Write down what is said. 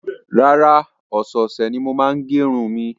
Rárá, ọ̀sẹ̀ẹ̀sẹ̀ ni mo máa ń gẹ irun mi.